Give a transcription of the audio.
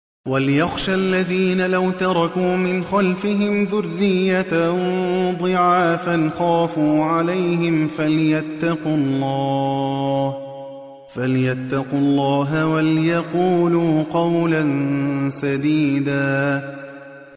وَلْيَخْشَ الَّذِينَ لَوْ تَرَكُوا مِنْ خَلْفِهِمْ ذُرِّيَّةً ضِعَافًا خَافُوا عَلَيْهِمْ فَلْيَتَّقُوا اللَّهَ وَلْيَقُولُوا قَوْلًا سَدِيدًا